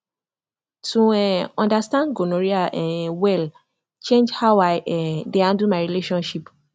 to um understand gonorrhea um well change how i um dey handle my relationship